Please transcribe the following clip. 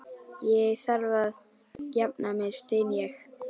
Ég þarf að jafna mig, styn ég.